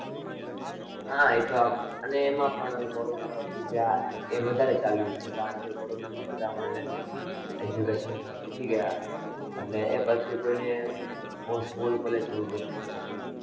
હ એ તો એને એમાં પણ કોરોના પછી જે આ વધારે ચાલ્યું છે કારણ કે કોરોના માં બધા online પર education લેતા સીખી ગયા એટલે એ પછી કોઈ ને school college જવું ગમતું જ નથી